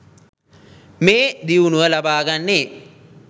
මේ දියුණුව ලබාගන්නේ